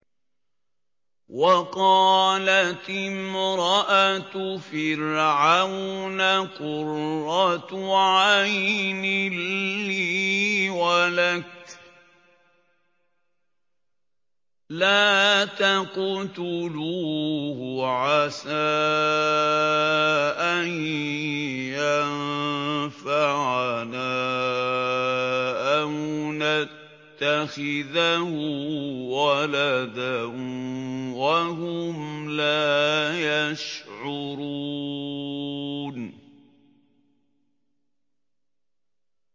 وَقَالَتِ امْرَأَتُ فِرْعَوْنَ قُرَّتُ عَيْنٍ لِّي وَلَكَ ۖ لَا تَقْتُلُوهُ عَسَىٰ أَن يَنفَعَنَا أَوْ نَتَّخِذَهُ وَلَدًا وَهُمْ لَا يَشْعُرُونَ